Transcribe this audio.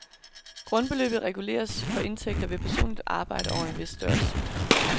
Grundbeløbet reguleres for indtægter ved personligt arbejde over en vis størrelse.